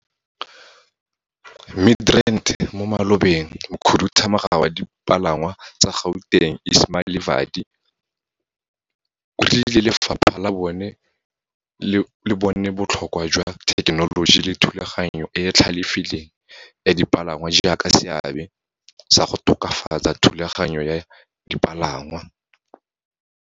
Midrand mo malobeng, Mokhuduthamaga wa Dipalangwa tsa Gauteng Ismail Vadi o rile lefapha le bone botlhokwa jwa thekenoloji le thulaganyo e e tlhalefileng ya dipalangwa jaaka seabe sa go tokafatsa thulaganyo ya dipalangwa.